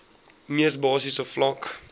mees basiese vlak